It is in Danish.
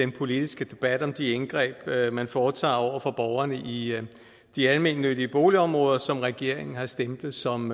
politiske debat om de indgreb man foretager over for borgerne i de almennyttige boligområder som regeringen har stemplet som